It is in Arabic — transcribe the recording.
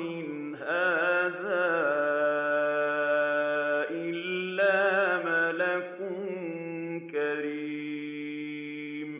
إِنْ هَٰذَا إِلَّا مَلَكٌ كَرِيمٌ